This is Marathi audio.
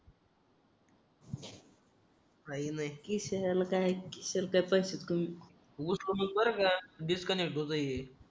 काही नाही त्रिशाला काय डिस्कनेक्ट होत ये